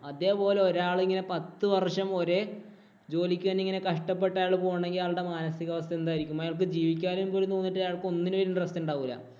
അതെ പോലെ ഒരാള് ഇങ്ങനെ പത്തുവര്‍ഷം ഒരേ ജോലിക്ക് വേണ്ടി ഇങ്ങനെ കഷ്ടപ്പെട്ട് അയാള് പോണേങ്കി അയാളുടെ മാനസികാവസ്ഥ എന്തായിരിക്കും? അയാള്‍ക്ക് ജീവിക്കാനും പോലെ തോന്നിട്ടു അയാള്‍ക്ക് ഒന്നിനും interest ഉണ്ടാവൂല്ല.